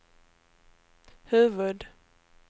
huvud-